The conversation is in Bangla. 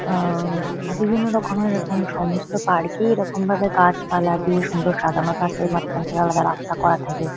আ-আ-অ- বিভিন্নরকমের এখন সমস্ত পার্ক -এই এরকমভাবে গাছপালা দিয়ে সুন্দর সাজানো থাকে। মাঝখান থেকে আলাদা রাস্তা করা থাকে।